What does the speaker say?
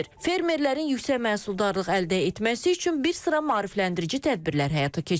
Fermerlərin yüksək məhsuldarlıq əldə etməsi üçün bir sıra maarifləndirici tədbirlər həyata keçirilib.